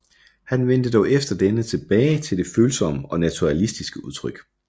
Han vendte dog efter denne tilbage til det følsomme og naturalistiske udtryk